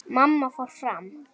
Mamma fór fram.